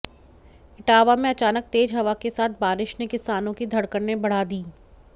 इटावा में अचानक तेज हवा के साथ बारिश ने किसानों की धड़कने बढ़ा दीं